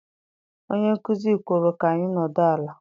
Onye nkuzi kwuru ka anyị nọdụ ala.